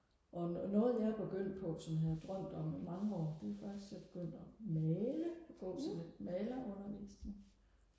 og og noget jeg er begyndt på som jeg har drømt om i mange år det er faktisk at jeg er begyndt og male og gå til lidt maler undervisning